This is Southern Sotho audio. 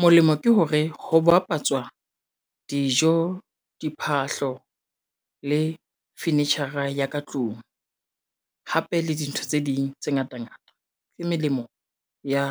Molemo ke hore ho bapatswa dijo, diphahlo le fenetshara ya ka tlung, hape le dintho tse ding tse ngata ngata le melemo ya